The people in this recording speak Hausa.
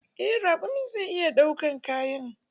Eh raƙumin zai iya ɗaukan kayan.